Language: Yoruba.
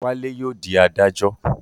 Wálé yóò dí adájọ́